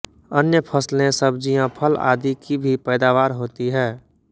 अन्य फसले सब्जियां फल आदि की भी पैदावार होती है